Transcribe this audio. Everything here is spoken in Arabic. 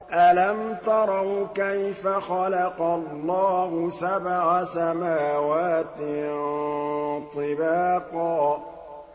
أَلَمْ تَرَوْا كَيْفَ خَلَقَ اللَّهُ سَبْعَ سَمَاوَاتٍ طِبَاقًا